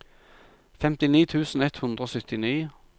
femtini tusen ett hundre og syttini